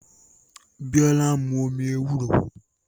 Biola ń mu omi ewúro